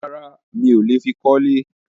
Rárá, mi ò le fi kọ́lé.